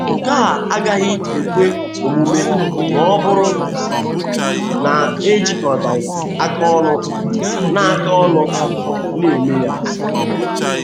Nke a agaghị ekwe omume ma ọ bụrụ na e jikọtaghị aka ọnụ na aka ọnụ na - eme ya.